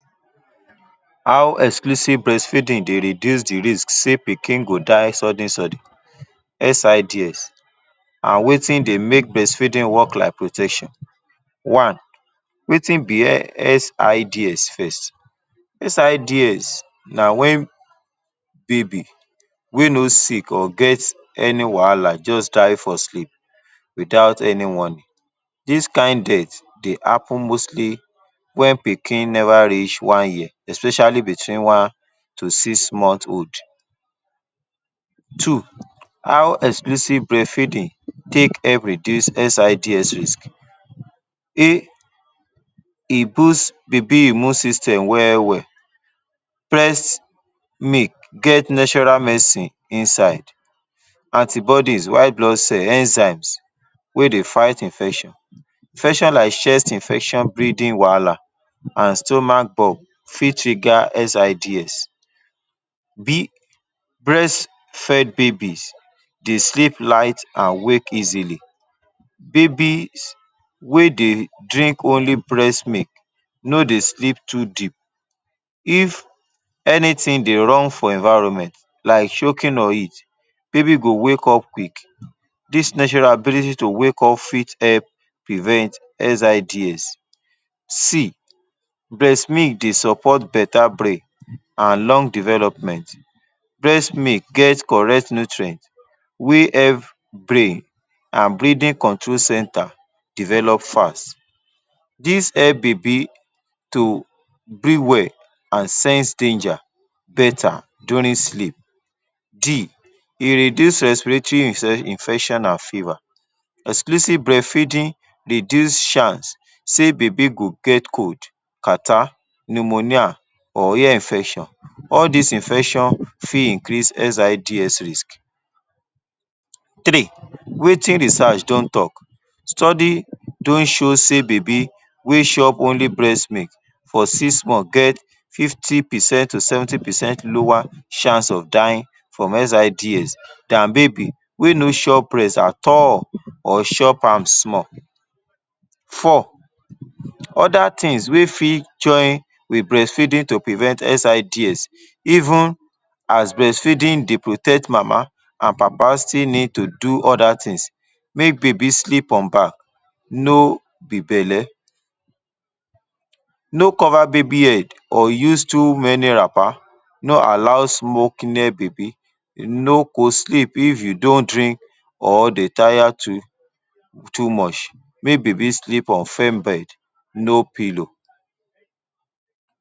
How exclusive breastfeeding dey reduce the risk sey pikin go die sudden-sudden – SIDS – an wetin dey make breastfeeding work like protection. One: Wetin be SIDs first? SIDS na wen baby wey no sick or get any wahala juz die for sleep without any warning. Dis kain death dey happen mostly wen pikin neva reach one year, especially between one to six month old. Two: How exclusive breastfeeding take help reduce SIDS risk? E boost baby immune system well-well: Breast milk get natural medicine inside – antibodies, white blood cell, enzymes – wey dey fight infection. Infection like chest infection, breathing wahala, an stomach bulb fit trigger SIDS Breastfed babies dey sleep light an wake easily: Babies wey dey drink only breast milk no dey sleep too deep. If anything dey wrong for environment, like choking or heat, baby go wake up quick. Dis natural ability to wake up fit help prevent SIDS. C Breast milk dey support beta brain a lung development: Breast milk get correct nutrient wey help brain a breathing control centre develop fast this hell baby to breathe well a sense danger beta during sleep. E reduce respiratory infection an fever: Exclusive breastfeeding reduce chance sey baby go get cold, catarrh, pneumonia or ear infection. All dis infection fit increase SIDS risk. Three: Wetin research don talk? Study don show sey baby wey chop only breast milk for six month get fifty percent to seventy percent lower chance of dying from SIDS than baby wey no chop breast at all or chop am small. Four: Other tins wey fit join with breastfeeding to prevent SIDS. Even as breastfeeding dey protect, mama an papa still need to do other tins: Make baby sleep on back, no be belle. No cover baby head or use too many wrapper. No allow smoking near baby. No co-sleep if you don drink or dey taya to too much. Make baby sleep on firm bed. No pillow.